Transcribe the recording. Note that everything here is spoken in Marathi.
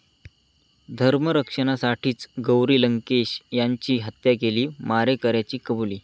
धर्मरक्षणासाठीच गौरी लंकेश यांची हत्या केली, मारेकऱ्याची कबुली